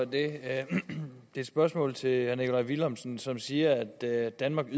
det er et spørgsmål til herre nikolaj villumsen som siger at danmark